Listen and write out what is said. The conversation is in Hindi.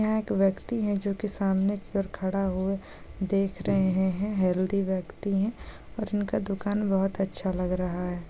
यहाँ एक व्यक्ति है जो के सामने की और खड़ा हुए देख रहे है हेअल्थी व्यक्ति है और इनका दुकान बहुत अच्छा लग रहा है।